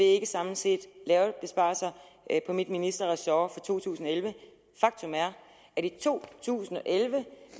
ikke samlet set lavet besparelser på min ministerressort for to tusind og elleve faktum er at i to tusind og elleve